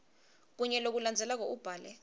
kunye kulokulandzelako ubhale